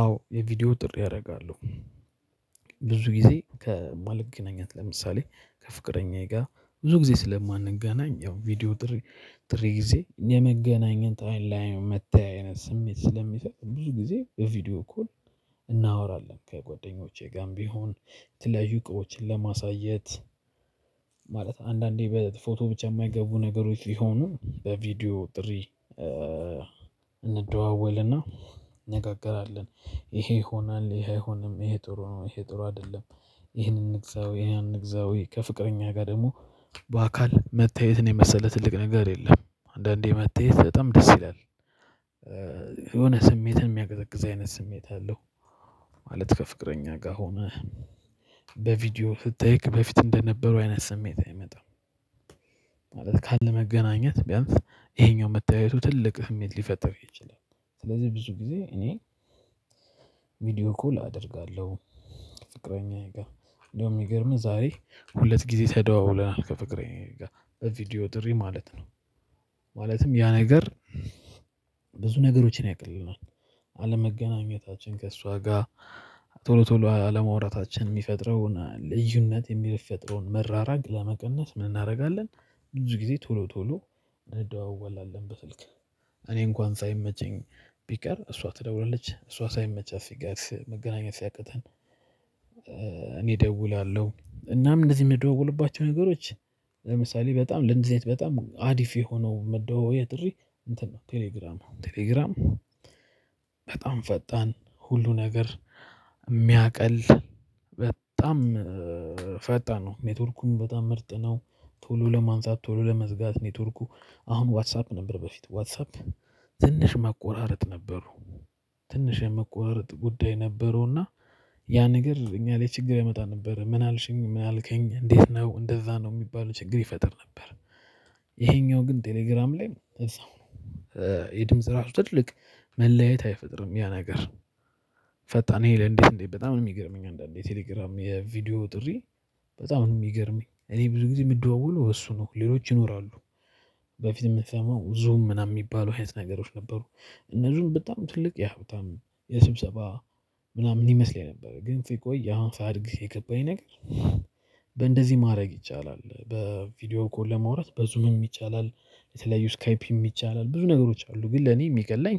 አዎ የቪዲዮ ጥሪ አደርጋለሁ። ብዙ ጊዜ ከማልገናኛት ለምሳሌ ከፍቅረኛዬ ጋር ብዙ ጊዜ ስለማንገናኝ ያው ቪዲዮ ጥሪ ጥሪ ጊዜ የመገናኘት አይን ለአይን መታየት ስሜት ስለሚሰጥ። ብዙ ጊዜ ቪዲዮ እኮ እናወራለን ከጓደኞቼ ጋርም ቢሆን የተለላየዩ እውቀቶችን ለማሳየት። ማለት አንዳንዴ በፎቶ ብቻ የማይገቡ ነገሮች ሲሆኑ በቪዲዮ ጥሪ እንደዋወልና እንነጋገራለን። ይሄ ይሆናል ይሄ አይሆንም ይሄ ጥሩ ነው ይሄ ጥሩ አይደለም። ይሄንን እንግዛው ያን እንግዛው ከፍቅረኛ ጋር ደግሞ በአካል መታየት ነው የመሰለ ትልቅ ነገር የለም። አንዳንዴ መታየት በጣም ደስ ይላል። የሆነ ስሜትን የሚያቀዘቅዝ አይነት ስሜት አለው። ማለት ከፍቅረኛ ጋር ሆነህ በቪዲዮ ስታይክ በፊት እንደነበሩው አይነት ስሜት አይመጣም። ማለት ካለመገናኘት ቢያንስ ይሄኛው መታየቱ ትልቅ ስሜት ሊፈጥር ይችላል። ስለዚህ ብዙ ጊዜ እኔ ቪዲዮ እኮ ላደርጋለሁ። ፍቅረኛዬ ጋር እንደውም የሚገርምህ ዛሬ ሁለት ጊዜ ተደዋውለናል ከፍቅረኛዬ ጋር በቪዲዮ ጥሪ ማለት ነው። ማለትም ያ ነገር ብዙ ነገሮችን ያቀልልናል። አለመገናኘታችን ከእሷ ጋር ቶሎ ቶሎ አለመውራታችን የሚፈጥረውን ልዩነት የሚፈጥረውን መራራቅ ለመቀነስ ምን እናደርጋለን? ብዙ ጊዜ ቶሎ ቶሎ እንደዋወላለን በስልክ። እኔ እንኳን ሳይመቸኝ ቢቀር እሷ ትደውላለች እሷ ሳይመቻት ሲቀር መገናኘት ሲያቅተን። እኔ እደውላለሁ እናም እንደዚህ የምደዋወልባቸው ነገሮች። ለምሳሌ በጣም ለእንደዚ አይነት በጣም አሪፍ የሆነው መደዋወያ ጥሪ እንትን ነው ቴሌግራም ቴሌግራም በጣም ፈጣን ሁሉ ነገር የሚያቀል በጣም ፈጣን ነው ኔትወርኩን በጣም ምርጥ ነው። ቶሎ ለማንሳት ቶሎ ለመዝጋት ኔትወርኩ አሁን ዋትሳፕ ነበር በፊት ዋትሳፕ ትንሽ መቆራረጥ ነበሩ። ትንሽ የመቆረጥ ጉዳይ ነበረውና። ያ ነገር እኛ ላይ ችግር ያመጣ ነበረ። ምን አልሽኝ? ምን አልከኝ? እንዴት ነው? እንደዛ ነው የሚባለው ችግር ይፈጥር ነበር። ይሄኛው ግን ቴሌግራም ላይ እዛው ነው። የድምጽ ራሱ ትልቅ መለያየት አይፈጥርም ያ ነገር። ፈጣን ይሄ ለእንዴት እንዴት በጣም የሚገርመኝ አንዳንዴ የቴሌግራም የቪዲዮ ጥሪ። በጣም ነው የሚገርመኝ እኔ ብዙ ጊዜ የምደዋወለው በእሱ ነው ሌሎች ይኖራሉ። በፊት የምትሰማው ዙም ምናምን የሚባሉ አይነት ነገሮች ነበሩ። እነዚህም በጣም ትልቅ ያው በጣም የስብሰባ ምናምን ይመስለኝ ነበር ግን ሲቆይ አሁን ሳድግ የገባኝ ነገር። በእንደዚህ ማድረግ ይቻላል በቪዲዮ እኮ ለመውራት በዙም ይቻላል። የተለያዩ ስካይፕ ይቻላል ብዙ ነገሮች አሉ። ግን ለኔ የሚቀለኝ